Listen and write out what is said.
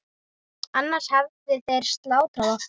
Annars hefðu þeir slátrað okkur.